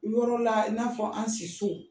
Yɔrɔ a i n'a fɔ an si so